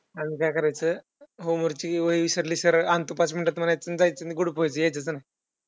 अजून काय करायचं homework ची वही विसरली. सरळ आणतो पाच minutes मध्ये म्हणायचं आणि गुडूप व्हायचं. यायचंच नाही.